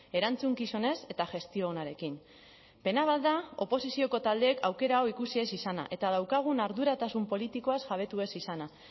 erantzukizunez eta gestio onarekin pena bat da oposizioko taldeek aukera hau ikusi ez izana eta daukagun arduratasun politikoaz jabetu ez izana